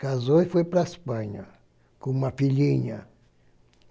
Casou e foi para a Espanha com uma filhinha.